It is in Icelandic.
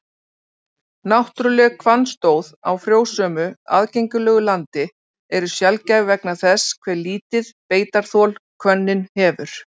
Náttúruleg hvannstóð á frjósömu, aðgengilegu landi eru sjaldgæf vegna þess hve lítið beitarþol hvönnin hefur.